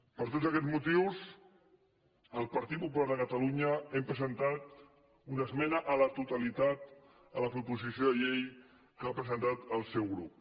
per tots aquests motius el partit popular de catalunya hem presentat una esmena a la totalitat a la proposició de llei que ha presentat el seu grup